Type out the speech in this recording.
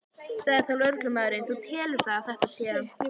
Sagði þá lögreglumaðurinn: Þú telur það að þetta sé?